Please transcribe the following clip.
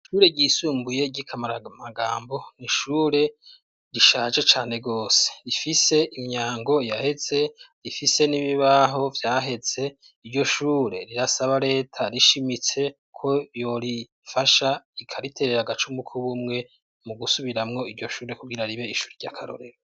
Ishure ryisumbuye ry'i Kamaramagambo ni ishure rishaje cane rwose; rifise imyango yaheze, rifise n'ibibaho vyahetse. Iryo shure rirasaba leta rishimitse ko yorifasha ikariterera agacumu k'ubumwe mu gusubiramwo iryo shure kugira ribe ishure ry'akarorero.